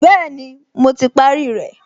Bẹ́ẹ̀ni, mo ti parí rẹ̀